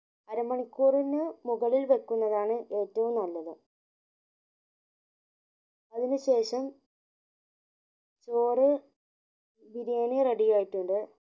അര മണിക്കൂറിന് മുകളിൽ വെക്കുന്നതാണ് ഏറ്റവും നല്ലത് അതിനു ശേഷം ചോറ് ബിരിയാണി ready ആയിട്ടുണ്ട്